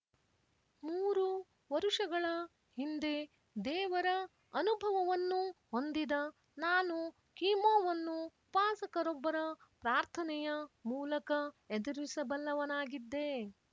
ಮೂರು ವರುಷಗಳ ಹಿಂದೆ ದೇವರ ಅನುಭವವನ್ನು ಹೊಂದಿದ ನಾನು ಕೀಮೋವನ್ನು ಉಪಾಸಕರೊಬ್ಬರ ಪ್ರಾರ್ಥನೆಯ ಮೂಲಕ ಎದುರಿಸಬಲ್ಲವನಾಗಿದ್ದೆ